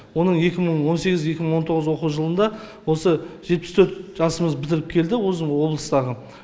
оның екі мың он сегіз екі мың он тоғыз оқу жылында осы жетпіс төрт жасымыз бітіріп келді осы облыстағы